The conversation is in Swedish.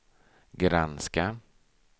granska